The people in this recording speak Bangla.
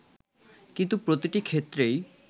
কিন্তু প্রতিটি ক্ষেত্রেই